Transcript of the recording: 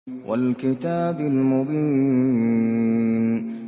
وَالْكِتَابِ الْمُبِينِ